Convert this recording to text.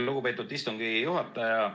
Lugupeetud istungi juhataja!